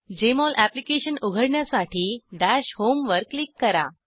Jmol application उघडण्यासाठी dash home वर click करा